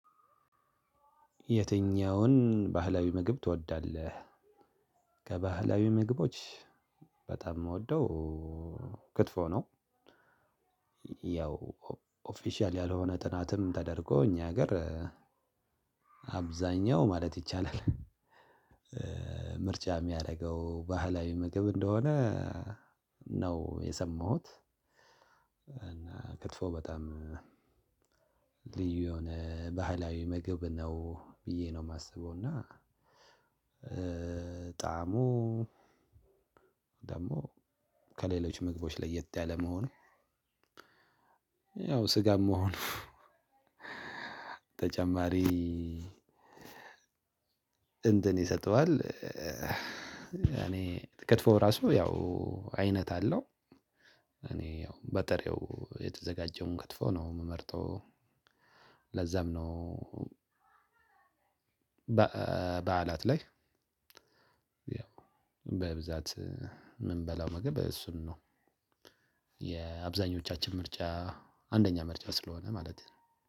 የትኛውን ባህላዊ ምግብ ትወዳለህ? ከባህላዊ ምግቦች በጣም የምወደው ክትፎ ነው። ያው ኦፊሻል ያልሆነ ጥናትም ተደርጎ እኛ ሀገር አብዛኛው ማለት ይቻላል። ምርጫ የሚያደርገው ባህላዊ ምግብ እንደሆነ ነው የሰማሁት። እና ክትፎ በጣም ልዩ የሆነ ባህላዊ ምግብ ነው ብዬ ነው የማስበው እና። ጣዕሙ ደግሞ ከሌሎች ምግቦች ለየት ያለ መሆን። ያው ስጋም መሆኑ ተጨማሪ እንትን ይሰጠዋል። እኔ ተክትፎ ራሱ ያው አይነት አለው። እኔ ያው በጥሬው የተዘጋጀውን ክትፎ ነው የምመርጠው። ለዛም ነው። በዓላት ላይ በብዛት የምንበላው ምግብ እሱን ነው። የአብዛኞቻችን ምርጫ አንደኛ ምርጫ ስለሆነ ማለቴ ነው